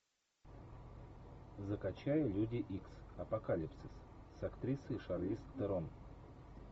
закачай люди икс апокалипсис с актрисой шарлиз терон